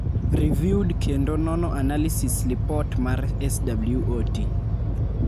Riviewed kendo nono analysis lipot mar SWOT.